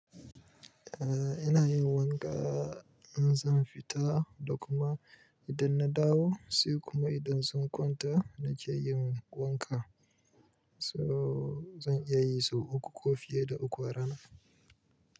Eh, ina yin wanka in zan fita da kuma idan na dawo, sai kuma idan zan kwanta na ke yin wanka. So zan iya yi sau uku ko fiye da uku a rana.